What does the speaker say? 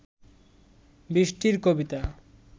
বৃষ্টির কবিতা